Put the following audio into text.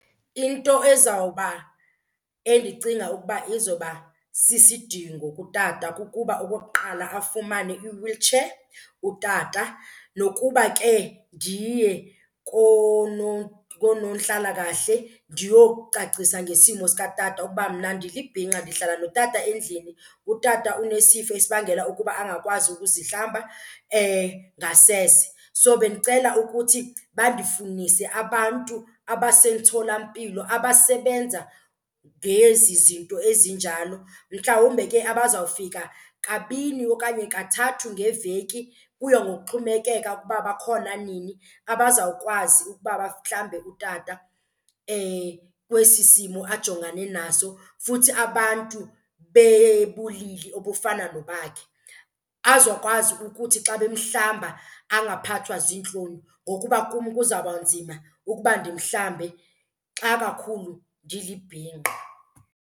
Into ezawuba endicinga ukuba izoba sisidingo kutata kukuba okokuqala afumane i-wheelchair utata. Nokuba ke ndiye konontlalakahle, ndiyocacisa ngesimo sikatata ukuba mna ndilibhinqa ndihlala notata endlini, utata unesifo esibangela ukuba angakwazi ukuzihlamba ngasese. So bendicela ukuthi bandifunise abantu abasemtholampilo abasebenza ngezi zinto ezinjalo. Mhlawumbe ke abazawufika kabini okanye kathathu ngeveki, kuya ngokuxhomekeka ukuba bakhona nini, abazawukwazi ukuba bahlambe utata kwesi simo ajongane naso. Futhi abantu obufana nobakhe, azokwazi ukuthi xa bemhlamba angaphathwa ziintloni ngokuba kum kuzawuba nzima ukuba ndimhlambe xa kakhulu ndilibhinqa.